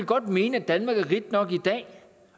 godt mene at danmark er rigt nok i dag